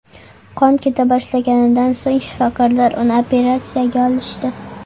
Qon keta boshlaganidan so‘ng shifokorlar uni operatsiyaga olishdi.